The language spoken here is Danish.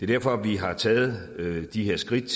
derfor vi har taget de her skridt